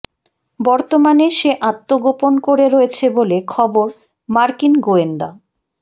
বর্তমানে সে আত্মগোপন করে রয়েছে বলে খবর মার্কিন গোয়েন্দা